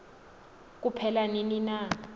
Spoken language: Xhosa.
kuphela nini na